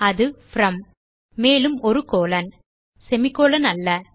அது From மேலும் ஒரு கோலோன் சேமி கோலோன் அல்ல